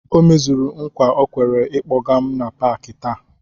O mezuru nkwa o kwere ịkpọga m na Pááki taa